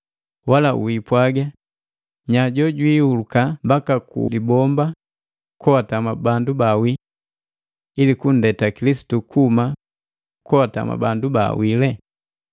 wala wiipwaga, “Nya jojwiiuluka mbaka ku libomba koatama bandu baawi?” Ili kunndeta Kilisitu kuhuma koatama bandu baawii.